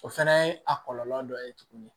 O fɛnɛ ye a kɔlɔlɔ dɔ ye tuguni